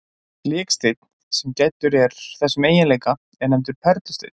Biksteinn, sem gæddur er þessum eiginleika, er nefndur perlusteinn.